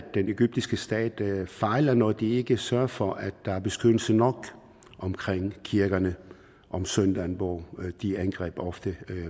den egyptiske stat fejler når den ikke sørger for at der er beskyttelse nok omkring kirkerne om søndagen hvor de angreb ofte